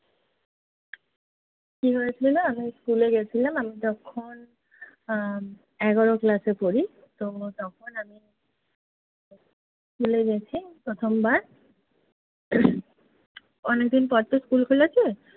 কী হয়েছিলো, আমি school এ গেছিলাম। আমি তখন আহ এগার ক্লাসে পড়ি। তো তখন আমি school এ গেছি প্রথমবার। অনেকদিন পর তো school খুলেছে,